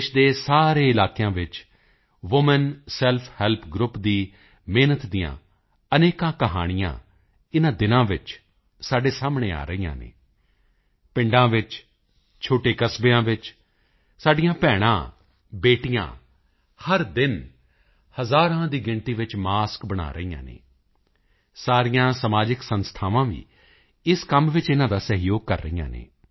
ਦੇਸ਼ ਦੇ ਸਾਰੇ ਇਲਾਕਿਆਂ ਵਿੱਚ ਵੂਮਨ ਸੈਲਫ ਹੈਲਪ ਗਰੁੱਪ ਦੀ ਮਿਹਨਤ ਦੀਆਂ ਵੀ ਅਣਗਿਣਤ ਕਹਾਣੀਆਂ ਇਨ੍ਹਾਂ ਦਿਨਾਂ ਵਿੱਚ ਸਾਡੇ ਸਾਹਮਣੇ ਆ ਰਹੀਆਂ ਹਨ ਪਿੰਡਾਂ ਵਿੱਚ ਛੋਟੇ ਕਸਬਿਆਂ ਵਿੱਚ ਸਾਡੀਆਂ ਭੈਣਾਂਬੇਟੀਆਂ ਹਰ ਦਿਨ ਹਜ਼ਾਰਾਂ ਦੀ ਸੰਖਿਆ ਵਿੱਚ ਮਾਸਕ ਬਣਾ ਰਹੀਆਂ ਹਨ ਸਾਰੀਆਂ ਸਮਾਜਿਕ ਸੰਸਥਾਵਾਂ ਵੀ ਇਸ ਕੰਮ ਵਿੱਚ ਇਨ੍ਹਾਂ ਦਾ ਸਹਿਯੋਗ ਕਰ ਰਹੀਆਂ ਹਨ